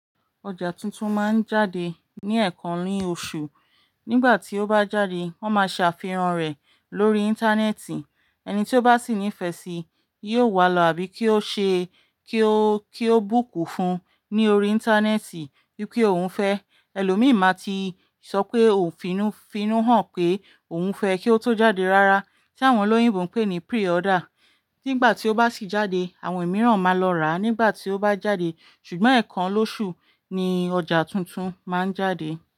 Ọjà tuntun máa ń jáde ní ẹ̀kan rin oṣù. Nígbà tí ó bá jáde wọ́n ma ṣe àfihàn rẹ̀ lórí interneti. Ẹni tí ó bá sì nífẹ̀sí yíò wá lọ àbí kí ó ṣe, kí ó, kí ó búkù fún ni orí interneti wípé òun fẹ́. Ẹlò mi ma ti sọpé òun fínú, fínú hàn pé òun fẹ́ kí ó tó jáde rárá. Tí àwọn olóyìnbó ń pè ní pre-order. Nígbà tí ó bá sì jáde, àwọn mìíràn ma lọ rà nígbà tí ó bá jáde. Ṣùgbọ́n ẹ̀kan lóṣù ni ọjà tuntun ma ń jáde.